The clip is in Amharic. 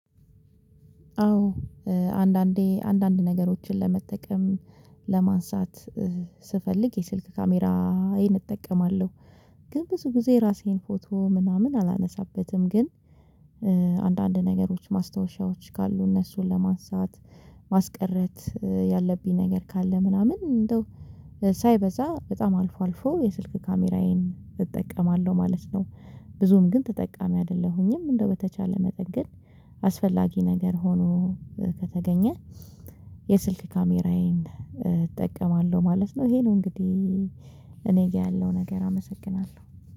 አዎ። አንዳንዴ አንዳንድ ነገሮችን ለመጠቀም ለማንሳት ስፈልግ የስልክ ካሜራዬን እጠቀማለሁ ግን ብዙ ጊዜ ራሴን ፎቶ ምናምን አላነሳበትም ግን አንዳንድ ነገሮች ማስታወሻዎች ካሉ እነሱን ለማንሳት ማስቀረት ያለብኝ ነገር ካለ ምናምን እንደው ሳይበዛ በጣም አልፎ አልፎ የስልክ ካሜራዬን እጠቀማለሁ ማለት ነው። ብዙም ግን ተጠቃሚ አይደለሁኝም እንደው በተቻለ መጠን ግን አስፈላጊ ነገር ሆኖ ከተገኘ የስልክ ካሜራዬን እጠቀማለሁ ማለት ነው። ይሄ ነው እንግዲህ እኔ ጋር ያለው ነገር አመሰግናለሁ።